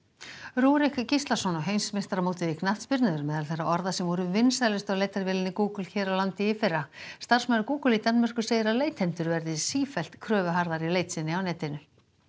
Rúrik Gíslason og heimsmeistaramótið í knattspyrnu eru meðal þeirra orða sem voru vinsælust á leitarvélinni Google hér á landi í fyrra starfsmaður Google í Danmörku segir að leitendur verði sífellt kröfuharðari í leit sinni á netinu